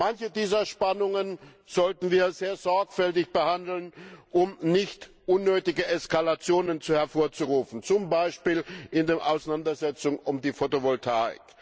Manche dieser Spannungen sollten wir sehr sorgfältig behandeln, um nicht unnötige Eskalationen hervorzurufen, zum Beispiel in der Auseinandersetzung um die Photovoltaik.